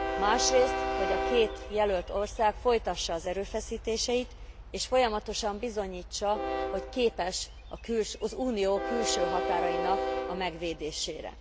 Másrészt, hogy a két jelölt ország folytassa az erőfeszítéseit és folyamatosan bizonyítsa, hogy képes az Unió külső határainak a megvédésére.